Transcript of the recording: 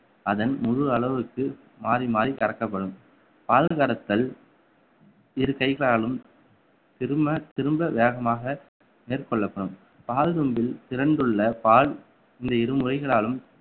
அதன் முழு அளவுக்கு மாறி மாறி கறக்கப்படும் பால் கறத்தல் இரு கைகளாலும் திரும்ப திரும்ப வேகமாக மேற்கொள்ளப்படும் கால் கூம்பில் திரண்டுள்ள பால் இந்த இரு முறைகளாலும்